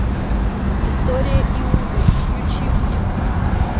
история иуды включи мне